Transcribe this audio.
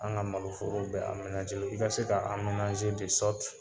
An ga maloforow bɛ i ka se ka